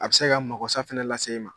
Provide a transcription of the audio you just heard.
A bɛ se ka magosa fɛnɛ lase i ma.